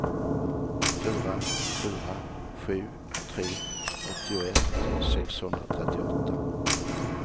fyra fyra sju tre åttioett sexhundratrettioåtta